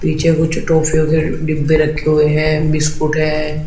पीछे कुछ टॉफियों के डिब्बे रखे हुए हैं। बिस्कुट हैं।